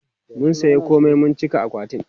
mun saya komai mun cika akwatin